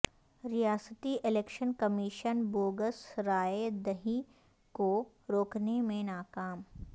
ریاستی election commission bogus رائے دہی کو روکنے میں ناکام